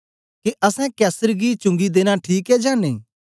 के असैं कैसर गी चुंगी देना ठीक ऐ जां नेई